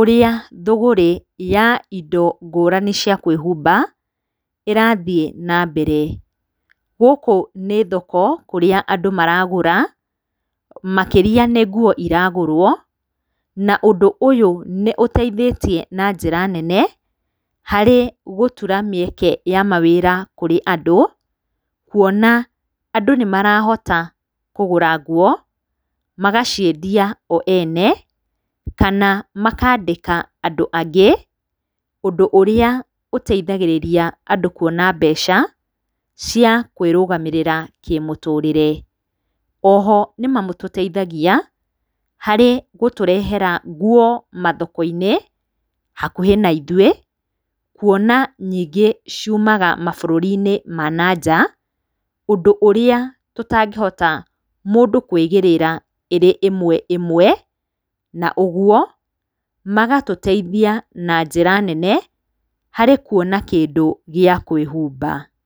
ũrĩa thũgũrĩ ya indo ngũrani cia kwĩhumba ĩrathiĩ na mbere. Gũkũ nĩ thoko kũrĩa andũ maragũra, makĩria nĩ nguo iragũrwo, na ũndũ ũyũ nĩ ũteithĩtie na njĩra nene harĩ gũtura mĩeke ya mawĩra harĩ andũ, kuona andũ nĩ marahota kũgũra nguo, magaciendia o ene kana makandĩka andũ angĩ, ũndũ ũrĩa ũteithagĩrĩria andũ kuona mbeca cia kwĩrũgamĩrĩra kĩmũtũrĩre. O ho nĩ matũteithagia harĩ gũtũrehera nguo mathoko-inĩ hakuhĩ na ithuĩ kuona nyingĩ ciumaga mabũrũri-nĩ ma nanja ũndũ ũrĩa tũtangĩhota mũndũ kwĩgĩrĩra ĩrĩ ĩmwe ĩmwe na ũguo magatũteithia na njĩra nene harĩ kuona kĩndũ gĩa kwĩhumba.